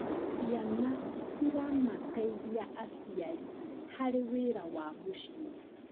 Ciana ciramateithia aciari harĩ wĩra wa mũciĩ.